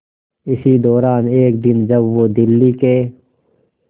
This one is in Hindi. इसी दौरान एक दिन जब वो दिल्ली के